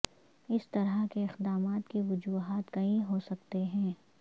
اس طرح کے اقدامات کی وجوہات کئی ہو سکتے ہیں